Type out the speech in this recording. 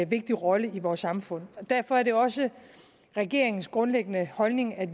vigtig rolle i vores samfund derfor er det også regeringens grundlæggende holdning at